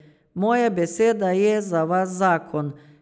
Moja beseda je za vas zakon.